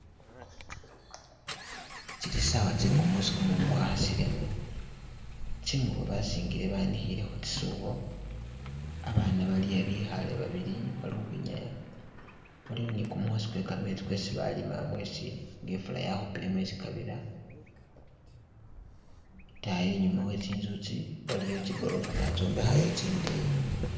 Tsili sawa tse kumusi kumumu kwakhasile, tsingubo basingile banikhile khu tsisubo abaana bali'a bikhale babili bali ukhwinyaya balikho ne kumukhosi kwe kametsi kwesi balima mwesi nga ifula yakhupile mwesi kabira itayi inyuma we tsinzu itsi waliyo tsi golofa batsombekhayo tsi ndeyi.